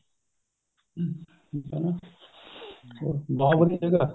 ਹਮ ਠੀਕ ਏ ਬਹੁਤ ਵਧੀਆ ਜਗ੍ਹਾ